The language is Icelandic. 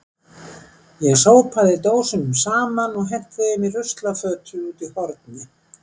Ég sópaði dósunum saman og henti þeim í ruslafötu úti í horni.